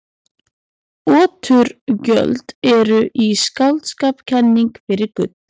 Oturgjöld eru í skáldskap kenning fyrir gull.